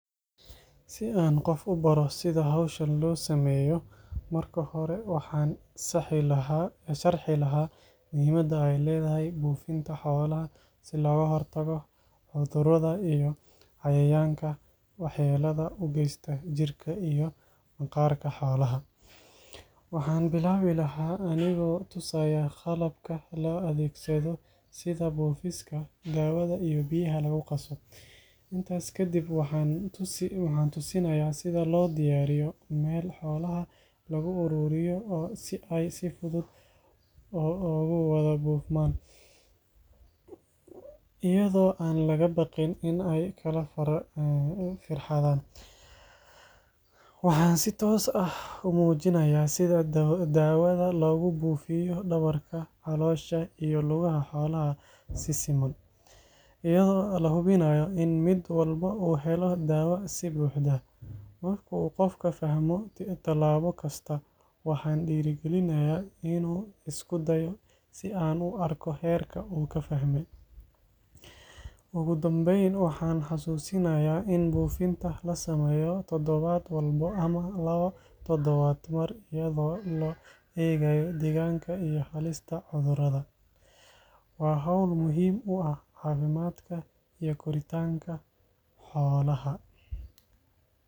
Si aan qof u baro sida hawshan loo sameeyo, marka hore waxaan sharxi lahaa muhiimadda ay leedahay buufinta xoolaha si looga hortago cudurrada iyo cayayaanka waxyeellada u geysta jirka iyo maqaarka xoolaha. Waxaan bilaabi lahaa anigoo tusaya qalabka la adeegsado sida buufiska, daawada iyo biyaha lagu qaso. Intaas kadib waxaan tusinayaa sida loo diyaariyo meel xoolaha lagu ururiyo si ay si fudud ugu wada buufmaan, iyadoo aan laga baqin in ay kala firxadaan. Waxaan si toos ah u muujinayaa sida daawada loogu buufiyo dhabarka, caloosha iyo lugaha xoolaha si siman, iyadoo la hubinayo in mid walba uu helo daawada si buuxda. Marka uu qofka fahmo talaabo kasta, waxaan dhiirrigelinayaa inuu isku dayo si aan u arko heerka uu ka fahmay. Ugu dambeyn, waxaan xasuusinayaa in buufinta la sameeyo todobaad walba ama labo todobaadba mar iyadoo loo eegayo deegaanka iyo halista cudurrada. Waa hawl muhiim u ah caafimaadka iyo koritaanka xoolaha.